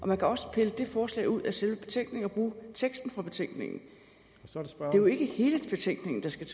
man kan også pille det forslag ud af selve betænkningen og bruge teksten fra betænkningen det er jo ikke hele betænkningen der skal